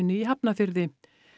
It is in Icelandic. í Hafnarfirði